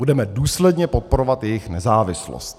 - Budeme důsledně podporovat jejich nezávislost.